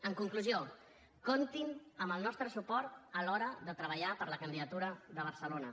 en conclusió comptin amb el nostre suport a l’hora de treballar per la candidatura de barcelona